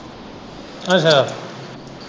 ਅੱਛਾ।